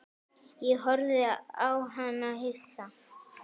Ég horfði á hana hissa.